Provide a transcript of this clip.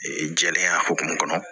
jɛlenya hokumu kɔnɔ